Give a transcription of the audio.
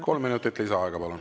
Kolm minutit lisaaega, palun!